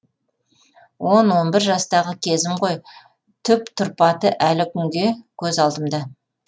он он бір жастағы кезім ғой түп тұрпаты әлі күнге көз алдымда